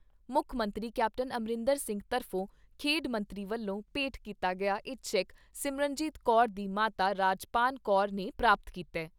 ਮੁੱਖ ਮੰਤਰੀ ਕੈਪਟਨ ਅਮਰਿੰਦਰ ਸਿੰਘ ਤਰਫ਼ੋਂ ਖੇਡ ਮੰਤਰੀ ਵੱਲੋਂ ਭੇਂਟ ਕੀਤਾ ਗਿਆ ਇਹ ਚੈਕ ਸਿਮਰਨਜੀਤ ਕੌਰ ਦੀ ਮਾਤਾ ਰਾਜਪਾਨ ਕੌਰ ਨੇ ' ਪ੍ਰਾਪਤ ਕੀਤਾ ।